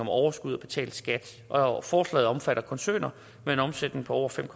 overskud og betalt skat og forslaget omfatter koncerner med en omsætning på over fem